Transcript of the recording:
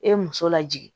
E ye muso lajigin